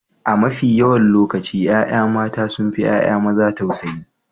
A mafi yawan lokaci ƴaƴa mata sun fi ƴaƴa maza tausayi.